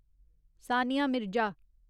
Sania Mirza